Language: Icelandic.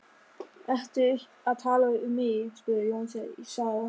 Ertu að tala um mig? spurði Jónsi sár.